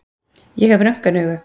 Ég hef röntgenaugu.